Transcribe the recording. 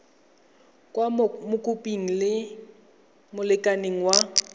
kwa mokopi le molekane wa